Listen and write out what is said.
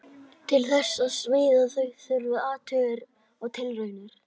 Til þess að smíða þau þurfti athuganir og tilraunir.